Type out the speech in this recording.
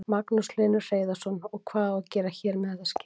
Magnús Hlynur Hreiðarsson: Og hvað á að gera hér með þetta skip?